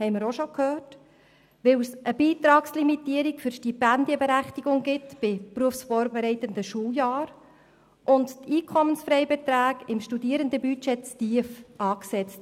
Weiter gibt es eine Beitragslimitierung für die Stipendienberechtigung bei berufsvorbereitenden Schuljahren, und die Einkommensfreibeträge im Studierendenbudget sind zu tief angesetzt.